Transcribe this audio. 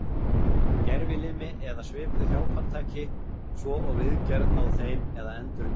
Gervilimi eða svipuð hjálpartæki svo og viðgerð á þeim eða endurnýjun.